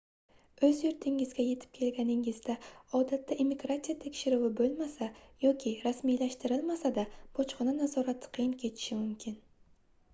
oʻz yurtingizga yetib kelganingizda odatda immigratsiya tekshiruvi boʻlmasa yoki rasmiylashtirilmasa-da bojxona nazorati qiyin kechishi mumkin